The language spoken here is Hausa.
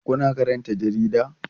Kuna karanta jarida?